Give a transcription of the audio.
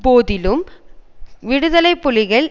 போதிலும் விடுதலை புலிகள்